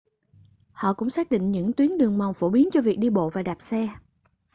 họ cũng xác định những tuyến đường mòn phổ biến cho việc đi bộ và đạp xe